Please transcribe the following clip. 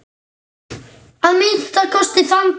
Að minnsta kosti þann dag.